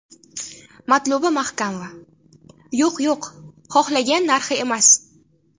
Matluba Mahkamova: Yo‘q, yo‘q, xohlagan narxi emas.